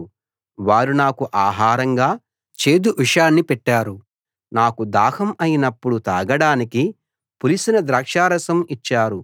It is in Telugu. వారు నాకు ఆహారంగా చేదు విషాన్ని పెట్టారు నాకు దాహం అయినప్పుడు తాగడానికి పులిసిన ద్రాక్షరసం ఇచ్చారు